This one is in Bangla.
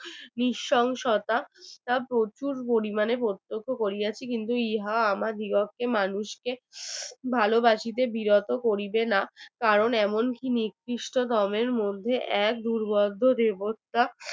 আমরা প্রচুর পরিমাণে প্রত্যক্ষ করিয়াছি কিন্তু ইহা আমার বিরত্তে মানুষকে ভালবাসিতে বিরত করিবে না কারণ এমন নিকৃষ্টতমের মধ্যে এক দুর্ভাগ্য দেবতা